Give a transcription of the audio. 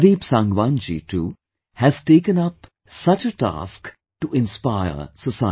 Pradeep Sangwan ji too has taken up such a task to inspire the society